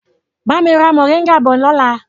Bami ra moringa bọ̀ lọ́la!